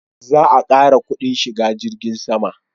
Za a ƙara kudin shiga jirgin sama